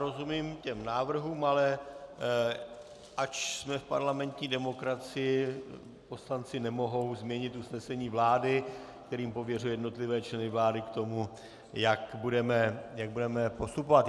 Rozumím těm návrhům, ale ač jsme v parlamentní demokracii, poslanci nemohou změnit usnesení vlády, kterým pověřuje jednotlivé členy vlády k tomu, jak budeme postupovat.